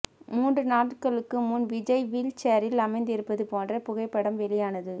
மூன்று நாட்களுக்கு முன் விஜய் வீல் சேரில் அமர்ந்திருப்பது போன்ற புகைப்படம் வெளியானது